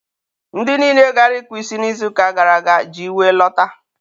ndị niile gara ịkpụ isi n'izu ụka gara aga ji iwe lọta.